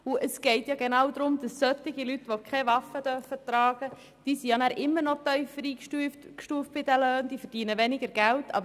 Es geht darum, dass Leute, welche keine Waffe tragen dürfen, nach wie vor auf der Lohnskala tiefer eingestuft werden und somit weniger verdienen.